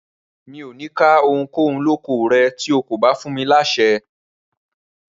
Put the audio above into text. Rárá, mi ò ní ká ohunkóhun lóko rẹ̀ tí kò bá fún mi láṣẹ.